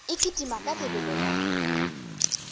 e kitima ka lebelo la